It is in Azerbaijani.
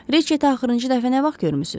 Riçeti axırıncı dəfə nə vaxt görmüsüz?